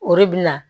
O de bi na